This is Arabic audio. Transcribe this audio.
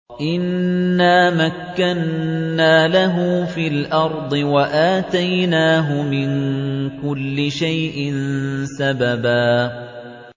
إِنَّا مَكَّنَّا لَهُ فِي الْأَرْضِ وَآتَيْنَاهُ مِن كُلِّ شَيْءٍ سَبَبًا